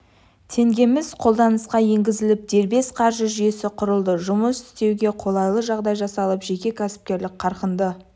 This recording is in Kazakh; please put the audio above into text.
теңгеміз қолданысқа енгізіліп дербес қаржы жүйесі құрылды жұмыс істеуге қолайлы жағдай жасалып жеке кәсіпкерлік қарқынды